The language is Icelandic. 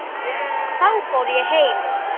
Þá fór ég heim.